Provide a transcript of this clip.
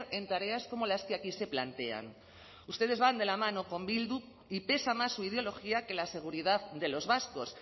en tareas como las que aquí se plantean ustedes van de la mano con bildu y pesa más su ideología que la seguridad de los vascos